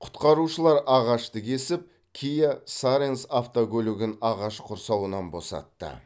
құтқарушылар ағашты кесіп киа саренс автокөлігін ағаш құрсауынан босатты